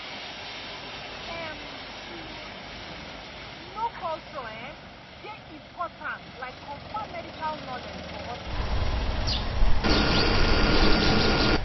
em — to um know culture um dey important like confam medical knowledge for hospital.